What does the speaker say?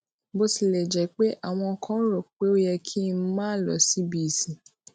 bó tilè jé pé àwọn kan rò pé ó yẹ kí n máa lọ síbi ìsìn